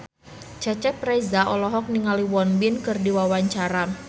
Cecep Reza olohok ningali Won Bin keur diwawancara